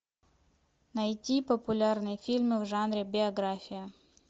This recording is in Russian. найти популярные фильмы в жанре биография